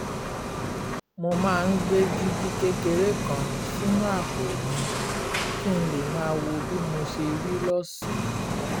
mo máa ń gbé dígí kékeré kan sínú àpò mi kí n lè máa wo bí mo ṣe rí lọ́sàn-án